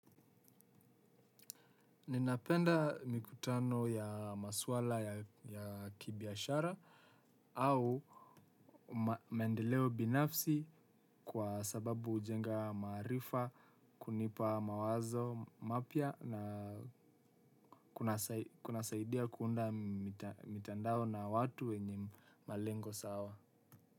Ninapenda mikutano ya maswala ya kibiashara au maendeleo binafsi kwa sababu hujenga maarifa kunipa mawazo mapya na kuna saidia kuunda mitandao na watu wenye malengo sawa.